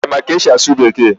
Ị ma ka esi asụ Bekee?